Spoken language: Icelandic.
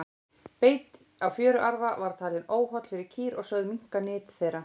beit á fjöruarfa var talinn óholl fyrir kýr og sögð minnka nyt þeirra